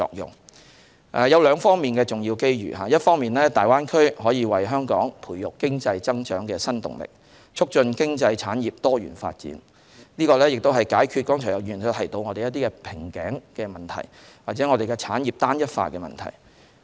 粵港澳大灣區有兩方面重要機遇，一方面可為香港培育經濟增長新動力，促進經濟產業多元發展，解決剛才有議員所指的瓶頸問題或產業單一化問題。